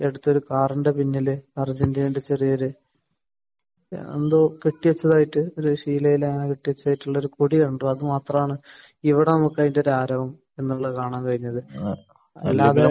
ഈ അടുത്ത് ഒരു കാറിന്റെ പിന്നിൽ അർജന്റീനയുടെ ചെറിയൊരു എന്തോ കെട്ടി വെച്ചതായിട്ട് ഒരു ശീലയിൽ അങ്ങനെ കെട്ടി വെച്ചതായിട്ട് ഉള്ള ഒരു കൊടി കണ്ടു. അത് മാത്രമാണ് ഇവിടെ നമുക്ക് അതിന്റെ ആരവം എന്നുള്ളത് കാണാൻ കഴിഞ്ഞത്. അല്ലാതെ